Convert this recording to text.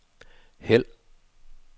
hæld